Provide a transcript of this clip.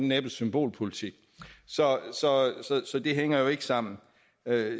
næppe symbolpolitik så det hænger jo ikke sammen